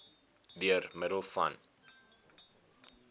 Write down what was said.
deur middel van